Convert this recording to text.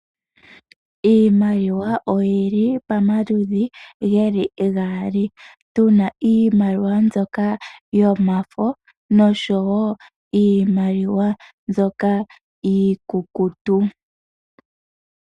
Iimaliwa oyili pamaludhi geli gaali. Tu na iimaliwa mbyoka yomafo noshowo iimaliwa mbyoka iikukutu.